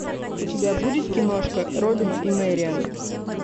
у тебя будет киношка робин и мэриан